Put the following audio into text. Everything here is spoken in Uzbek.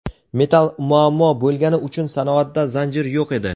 Metall muammo bo‘lgani uchun sanoatda zanjir yo‘q edi.